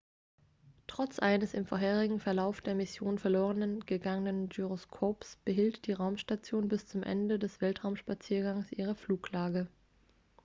trotz eines im vorherigen verlauf der mission verloren gegangenen gyroskops behielt die raumstation bis zum ende des weltraumspaziergangs ihre fluglage